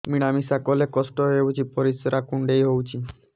ମିଳା ମିଶା କଲେ କଷ୍ଟ ହେଉଚି ପରିସ୍ରା କୁଣ୍ଡେଇ ହଉଚି